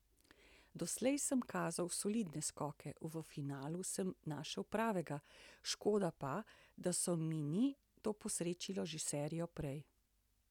Doslej sem kazal solidne skoke, v finalu sem našel pravega, škoda pa, da se mi ni to posrečilo že serijo prej.